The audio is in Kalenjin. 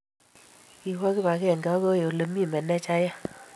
kiwo kibagenge akoi ole mi manejayat